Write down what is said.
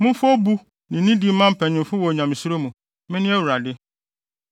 “ ‘Momfa obu ne nidi mma mpanyimfo wɔ Onyamesuro mu. Mene Awurade.